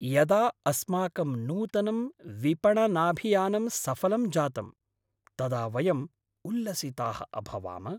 यदा अस्माकं नूतनं विपणनाभियानं सफलं जातं तदा वयं उल्लसिताः अभवाम।